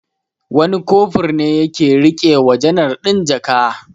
Wani Kofur ne ya ke riƙe wa janar ɗin jaka.